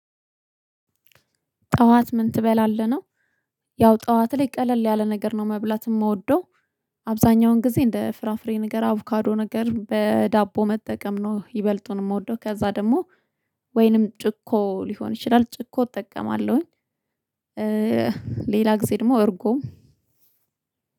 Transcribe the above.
ጠዋት ምን ትበላለህ? ነው። ያው ጠዋት ላይ ቀለል ያለ ነገር ነው መብላት የምወደው፤ አብዛኛውን ጊዜ እንደ ፍራፍሬ ነገር አቮካዶ ነገር በዳቦ መጠቀም ነው ይበልጡን የምወደው። ከዛ ደግሞ ወይንም ጭኮ ሊሆን ይችላል ጭኮ እጠቀማለሁኝ። ሌላ ጊዜ ደግሞ እርጎ